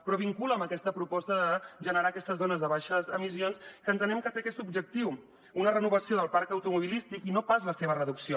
però es vinculen a aquesta proposta de generar aquestes zones de baixes emissions que entenem que té aquest objectiu una renovació del parc automobilístic i no pas la seva reducció